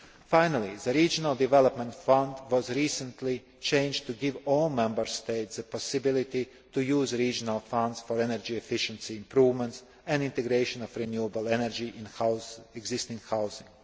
Finally, the Regional Development Fund was recently changed to give all Member States the possibility to use regional funds for energy efficiency improvements and the integration of renewable energy into existing housing.